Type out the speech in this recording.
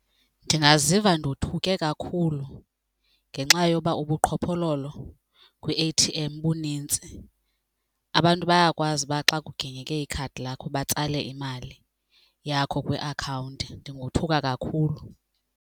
Ndingaziva ndothuke kakhulu ngenxa yoba ubuqhophololo kwi-A_T_M bunintsi. Abantu bayakwazi uba xa kuginyeke ikhadi lakho batsale imali yakho kwiakhawunti, ndingothuka kakhulu.